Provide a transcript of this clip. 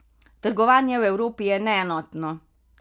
Trgovanje v Evropi je neenotno.